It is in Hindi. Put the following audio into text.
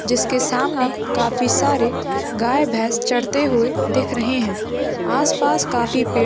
जिसके सामने काफी सारे गाय भैंस चरते हुए दिख रहे है आसपास काफी पेड़ --